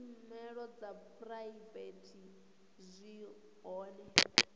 tshumelo dza phuraivete zwi hone